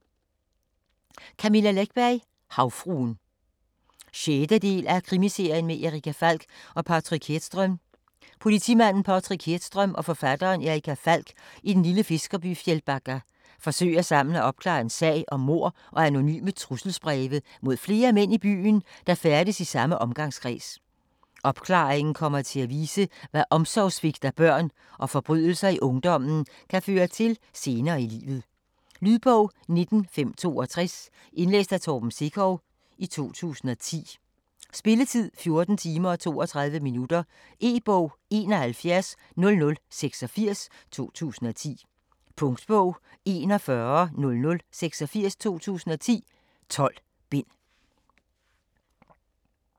Läckberg, Camilla: Havfruen 6. del af Krimiserien med Erica Falck og Patrik Hedström. Politimanden Patrik Hedström og forfatteren Erica Falck i den lille fiskerby Fjällbacka forsøger sammen at opklare en sag om mord og anonyme trusselsbreve mod flere mænd i byen, der færdes i samme omgangskreds. Opklaringen kommer til at vise, hvad omsorgsvigt af børn og forbrydelser i ungdommen kan føre til senere i livet. Lydbog 19562 Indlæst af Torben Sekov, 2010. Spilletid: 14 timer, 32 minutter. E-bog 710086 2010. Punktbog 410086 2010. 12 bind.